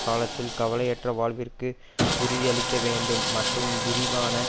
காலத்தில் கவலையற்ற வாழ்விற்கு உறுதி அளிக்கவேண்டும் மற்றும் விரிவான